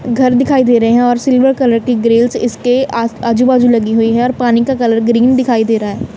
घर दिखाई दे रहे हैं और सिल्वर कलर की ग्रिल्स इसके आ आजू बाजू लगी हुई और पानी का कलर ग्रीन दिखाई दे रहा--